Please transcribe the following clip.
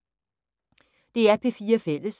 DR P4 Fælles